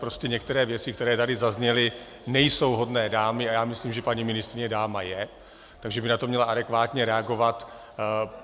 Prostě některé věci, které tady zazněly, nejsou hodné dámy, a já myslím, že paní ministryně dáma je, takže by na to měla adekvátně reagovat.